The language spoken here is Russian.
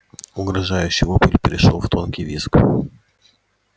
угрожающий вопль перешёл в тонкий визг